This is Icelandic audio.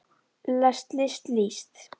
lest list líst